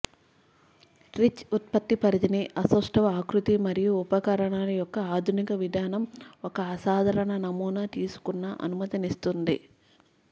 rich ఉత్పత్తి పరిధిని అసౌష్టవ ఆకృతి మరియు ఉపకరణాలు యొక్క ఆధునిక విధానం ఒక అసాధారణ నమూనా తీసుకున్న అనుమతిస్తుంది